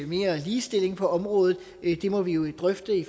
mere ligestilling på området må vi jo drøfte i